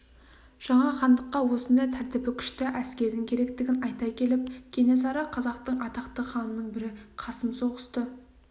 жаңа хандыққа осындай тәртібі күшті әскердің керектігін айта келіп кенесары қазақтың атақты ханының бірі қасым соғысты